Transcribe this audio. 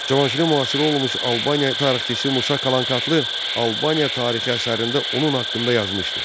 Cavanşirin müasiri olmuş Albaniya tarixçisi Musa Kalankatlı Albaniya Tarixi əsərində onun haqqında yazmışdı.